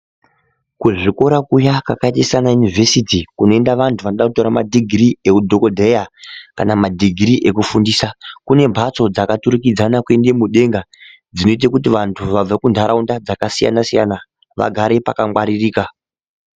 Kuzvikora kuya kwakaiya sanayunivhesiti kunoenda vantu vanoda kutora madhigirii ehudhogodheya kana madhigirii ekufundisa, kune mbatso dzakaturikidzana kuende mudenga dzinoite kuti vantu vabva kuntaraunda dzakasiyana siyana vagare pakangwaririka.